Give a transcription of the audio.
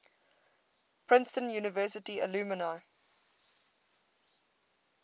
princeton university alumni